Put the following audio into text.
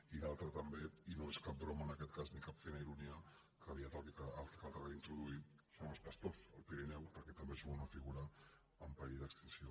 i l’altre també i no és cap bro·ma en aquest cas ni cap fina ironia que aviat el que caldrà reintroduir són els pastors al pirineu perquè també són una figura en perill d’extinció